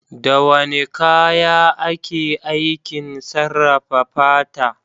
Da wane kaya ake aikin sarrafa fata?